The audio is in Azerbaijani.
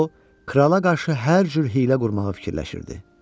O krala qarşı hər cür hiylə qurmağa fikirləşirdi.